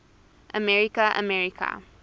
america america